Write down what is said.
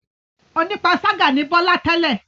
Onípanṣágà ni Bọ́lá tẹ́lẹ̀.